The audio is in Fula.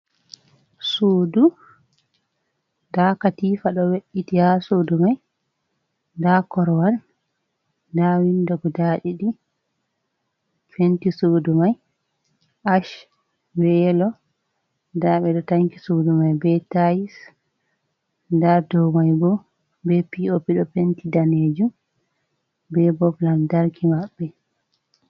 Suudu, nda katiifa ɗo we’iti ha suudu mai, nda korowal, nda windo guda ɗiɗi, penti suudu mai ash be yelo, nda ɓe ɗo tanki suudu mai be taais, nda dow mai bo be pii-oo-pi ɗo penti danejum, be bob lamtarki maɓɓe.